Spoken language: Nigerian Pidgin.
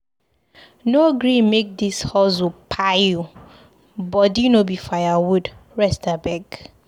No gree make dis hustle kpai you o, body no be firewood, rest abeg.